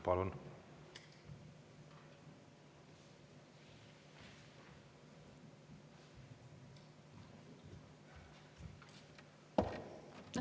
Palun!